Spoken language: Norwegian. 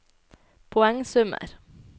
poengsummer